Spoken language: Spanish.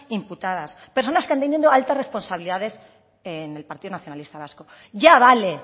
imputadas personas que han tenido altas responsabilidades en el partido nacionalista vasco ya vale